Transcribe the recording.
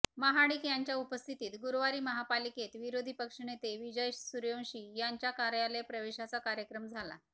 महाडिक यांच्या उपस्थितीत गुरुवारी महापालिकेत विरोधी पक्षनेते विजय सूर्यवंशी यांच्या कार्यालय प्रवेशाचा कार्यक्रम झाला